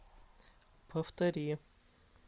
повтори